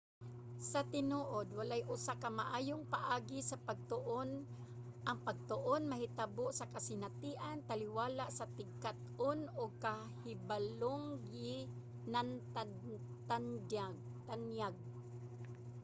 sa tinuod walay usa ka maayong paagi sa pagtuon. ang pagtuon mahitabo sa kasinatian taliwala sa tigkat-on ug kahibalong ginatanyag